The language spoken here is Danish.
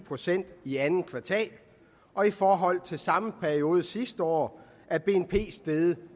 procent i andet kvartal og i forhold til samme periode sidste år er bnp steget